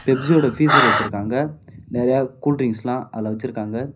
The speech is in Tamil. பெப்சியோட ஃபீஜர் வச்சுருக்காங்க நறையா கூல்ட்ரிங்க்ஸ்லா அதுல வச்சுருக்காங்க.